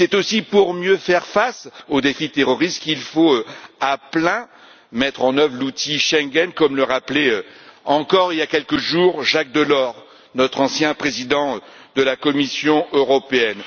C'est aussi pour mieux faire face au défi terroriste qu'il faut pleinement mettre en œuvre l'outil Schengen, comme le rappelait encore il y a quelques jours Jacques Delors, notre ancien président de la Commission européenne.